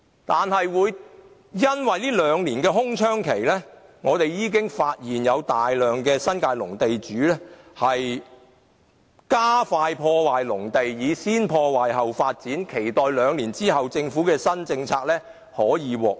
然而，因為這兩年的空窗期，我們發現有大量新界農地的地主加快破壞農地，以先破壞後發展的方式，期待兩年後政府的新政策出台後可以獲益。